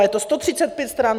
A je to 135 stran.